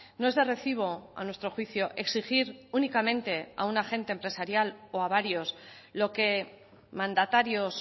no es de recibo a nuestro juicio exigir únicamente a un agente empresarial o a varios lo que mandatarios